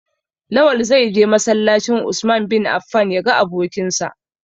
Lawal zai je masallacin "Usman bin Affan" ya ga abokinsa.